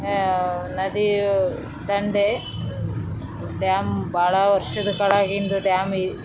ನದಿ ಬಂಡೆ ಡ್ಯಾಮ್ ಬಹಳ ವರ್ಷ ಕೆಳಂಗಿದ್ ಡ್ಯಾಮ್ .